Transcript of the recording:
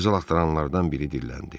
Qızıl axtaranlardan biri dilləndi.